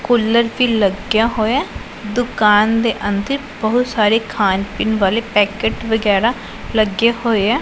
Cooler ਵੀ ਲੱਗ ਗਿਆ ਹੋਇਆ ਦੁਕਾਨ ਦੇ ਅੰਦਰ ਬਹੁਤ ਸਾਰੇ ਖਾਣ ਪੀਣ ਵਾਲੇ ਪੈਕਟ ਵਗੈਰਾ ਲੱਗੇ ਹੋਏ ਆ।